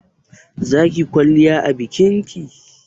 zakiyi kwalliya a bikinki?